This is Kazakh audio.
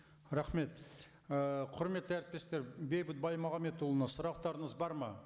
рахмет ы құрметті әріптестер бейбіт баймағамбетұлына сұрақтарыңыз бар ма